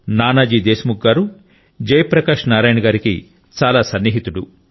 Nanaji Deshmukh గారు Jayaprakash Narayan గారి కి చాలా సన్నిహితుడు